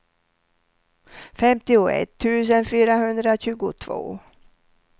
femtioett tusen fyrahundratjugotvå